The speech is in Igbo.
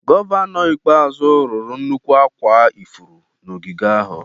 Gọvanọ ikpeazụ rụrụ nnukwu akwa ifuru na ogige ahụ.